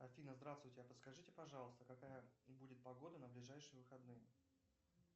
афина здравствуйте а подскажите пожалуйста какая будет погода на ближайшие выходные